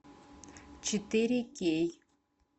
четыре кей